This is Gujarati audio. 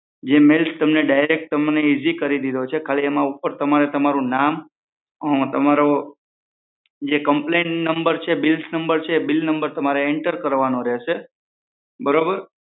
જે મેઈલ તમને ડીરેક્ટ ઇઝી કરી દીધો છે ખાલી ઉપર તમારે તમારું નામે તમારો complaint નંબર છે બીલ નંબર છે તમારે એન્ટર કરવાનો રહેશે બરોબર